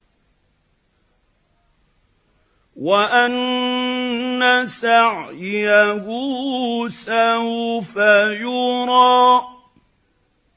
وَأَنَّ سَعْيَهُ سَوْفَ يُرَىٰ